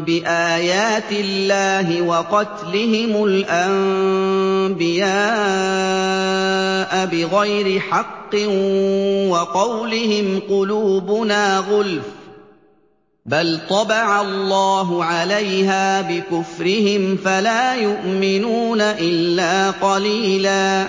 بِآيَاتِ اللَّهِ وَقَتْلِهِمُ الْأَنبِيَاءَ بِغَيْرِ حَقٍّ وَقَوْلِهِمْ قُلُوبُنَا غُلْفٌ ۚ بَلْ طَبَعَ اللَّهُ عَلَيْهَا بِكُفْرِهِمْ فَلَا يُؤْمِنُونَ إِلَّا قَلِيلًا